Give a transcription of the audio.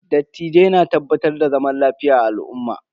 Dattijai na tabbatar da zaman lafiya a al'umma.